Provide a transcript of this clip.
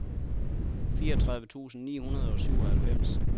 fireogtredive tusind ni hundrede og syvoghalvfems